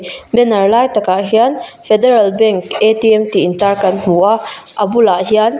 banner lai takah hian federal bank tih intar kan hmua a bulah hian.